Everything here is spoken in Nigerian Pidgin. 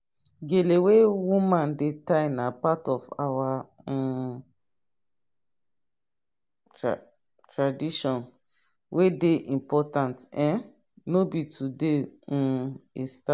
gale wey woman dey tie na part of our um tratradition wey dey important um no be today um e star